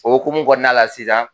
O hukumu kɔnɔna la sisan